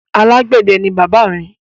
Alágbẹ̀dẹ ni bàbá mi.